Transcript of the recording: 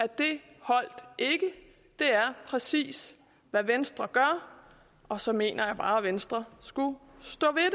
det er præcis hvad venstre gør og så mener jeg bare at venstre skulle stå ved